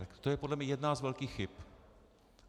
Tak to je podle mě jedna z velkých chyb.